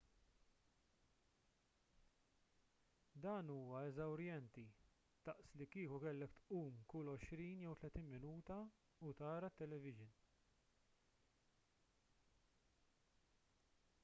dan huwa eżawrjenti daqs li kieku kellek tqum kull għoxrin jew tletin minuta u tara t-televixin